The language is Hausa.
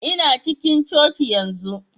Ina cikin coci yanzu.